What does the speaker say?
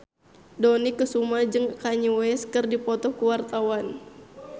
Dony Kesuma jeung Kanye West keur dipoto ku wartawan